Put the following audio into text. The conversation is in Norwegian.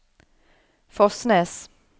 Fosnes